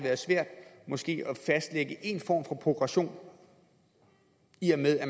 måske være svært at fastlægge en form for progression i og med at